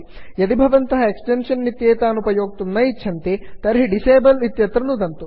यदि भवन्तः एक्स्टेन्षन् इत्येतान् उपयोक्तुं न इच्छन्ति तर्हि डिसेबल डिसेबल् इत्यत्र नुदन्तु